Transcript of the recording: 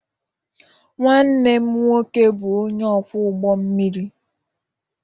Nwanne m nwoke bụ onye ọkwọ ụgbọ mmiri